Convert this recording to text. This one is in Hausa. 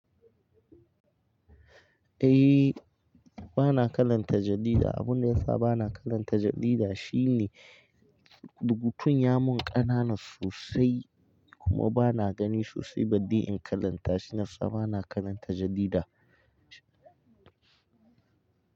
Eh bana karanta jarida. Abin da yasa bana karanta jarida shine rubutun ya mun ƙanana sosai kuma bana gani sosai balli in karanta. Shine sa bana karanta jarida.